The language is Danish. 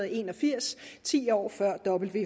en og firs ti år før